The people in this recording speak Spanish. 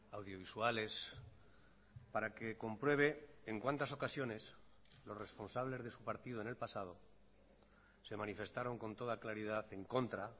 audiovisuales para que compruebe en cuantas ocasiones los responsables de su partido en el pasado se manifestaron con toda claridad en contra